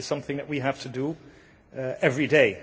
So it is something that we have to do every day.